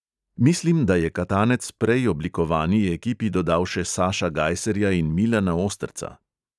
Mislim, da je katanec prej oblikovani ekipi dodal še saša gajserja in milana osterca.